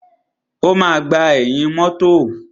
O máa gbà ẹ̀yìn mọ́tọ̀.